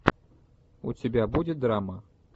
у тебя будет драма